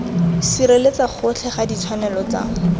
sireletsa gotlhe ga ditshwanelo tsa